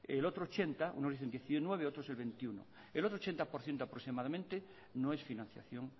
el otro ochenta unos dicen diecinueve otros el veintiuno el otro ochenta por ciento aproximadamente no es financiación